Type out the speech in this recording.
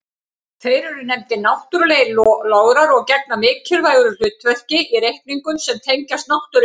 Þeir eru nefndir náttúrlegir lograr og gegna mikilvægu hlutverki í reikningum sem tengjast náttúruvísindum.